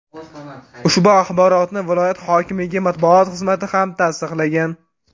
Ushbu axborotni viloyat hokimligi matbuot xizmati ham tasdiqlagan.